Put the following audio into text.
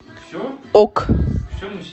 ок